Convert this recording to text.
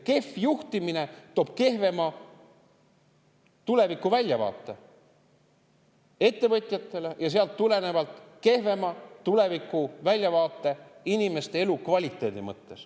Kehv juhtimine toob kehvema tulevikuväljavaate ettevõtjatele ja sealt tulenevalt kehvema tulevikuväljavaate inimeste elukvaliteedi mõttes.